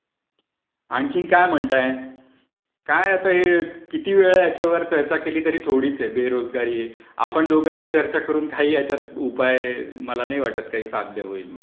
आणखीन काय म्हणताय? काय आता हे कितीही वेळ याच्यावरती चर्चा केली तरी थोडीच आहे. आपण दोघांनी चर्चा करून काही हयाच्यावर उपाय मला नाही वाटतं काही साध्य होईल म्हणून.